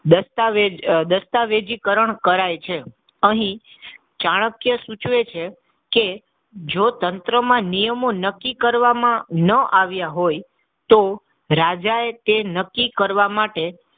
દસ્તાવેજ દસ્તાવેજીકરણ કરાઇ છે. અહીં ચાણક્ય સૂચવે છે કે જો તંત્રમાં નિયમો નક્કી કરવામાં ન આવ્યા હોય તો રાજાએ તે નક્કી કરવા માટે,